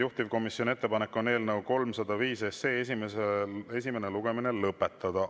Juhtivkomisjoni ettepanek on eelnõu 305 esimene lugemine lõpetada.